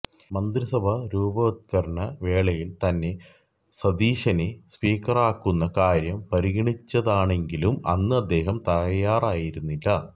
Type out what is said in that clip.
മന്ത്രിസഭാ രൂപവത്കരണ വേളയില് തന്നെ സതീശനെ സ്പീക്കറാക്കുന്ന കാര്യം പരിഗണിച്ചതാണെങ്കിലും അന്ന് അദ്ദേഹം തയ്യാറായിരുന്നില്ല